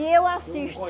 E eu assisto.